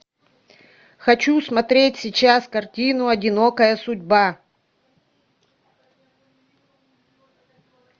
хочу смотреть сейчас картину одинокая судьба